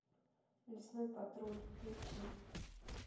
лесной патруль включи